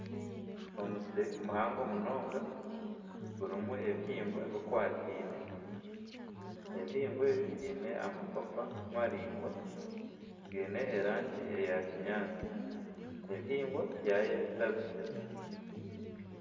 Omusiri muhango munonga gurimu ebihingwa bikwataine ebihingwa ebi biine amapapa maraingwa gaine erangi eya kinyatsi ebihingwa byarabize.